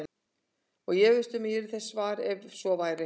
Ég efast um að ég yrði þess var, ef svo væri